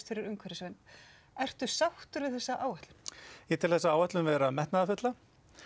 fyrir umhverfisvernd ertu sáttur við þessa áætlun ég tel þessa áætlun vera metnaðarfulla